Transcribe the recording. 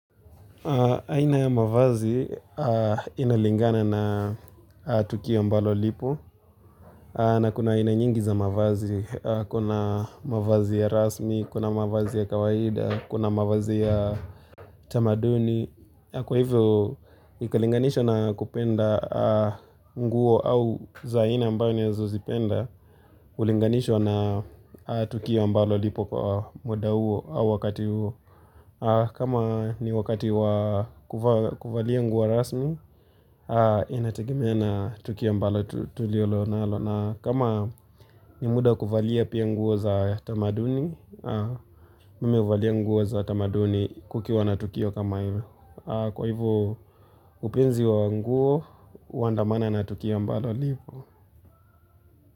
Aina ya mavazi inalingana na tukio ambalo lipo na kuna aina nyingi za mavazi, kuna mavazi ya rasmi, kuna mavazi ya kawaida, kuna mavazi ya tamaduni. Kwa hivyo, ikalinganisha na kupenda nguo au za aina ambao ninazozipenda Ulinganishwa na tukio ambalo lipo kwa muda huo au wakati huo kama ni wakati wa kuvalia nguo rasmi, inategemea na tukio ambalo tulilo nalo na kama ni muda wa kuvalia pia nguo za tamaduni, mimi huvalia nguo za tamaduni kukiwa na tukio kama hivyo Kwa hivyo upenzi wa nguo, huandamana na tukio ambalo lipo.